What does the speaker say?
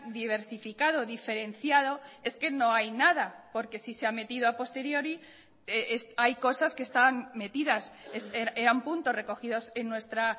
diversificado diferenciado es que no hay nada porque si se ha metido a posteriori hay cosas que están metidas eran puntos recogidos en nuestra